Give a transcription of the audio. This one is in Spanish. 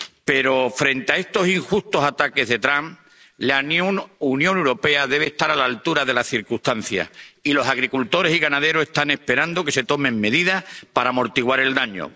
Pero, frente a estos injustos ataques de Trump, la Unión Europea debe estar a la altura de las circunstancias, y los agricultores y ganaderos están esperando que se tomen medidas para amortiguar el daño.